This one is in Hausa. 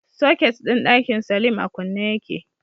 Soket din dakin salim a kunne yake